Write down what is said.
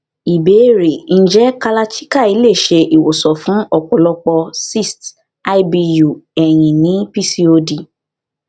ìbéèrè nje kalarchikai lè ṣe ìwòsàn fún ọ̀pọ̀lọpọ̀ cyst ibu eyin ni pcod